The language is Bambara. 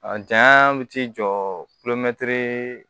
A janya bɛ t'i jɔ kulomɛtiri